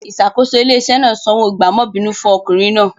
Ìṣàkóso ilé-iṣẹ́ náà sanwó gbààmọ́bìínú fún ọkùnrin náà.